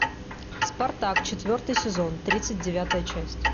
спартак четвертый сезон тридцать девятая часть